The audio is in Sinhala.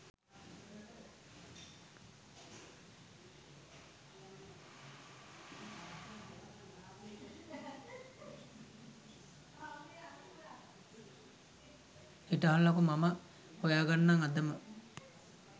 හිටහල්ලකෝ මම හොයාගන්නම් අදම